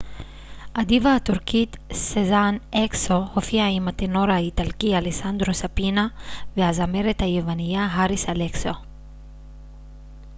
הדיווה הטורקית סזן אקסו הופיעה עם הטנור האיטלקי אלסנדרו ספינה והזמרת היווניה האריס אלכסיו